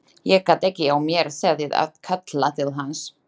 Ég gat ekki á mér setið að kalla til hans.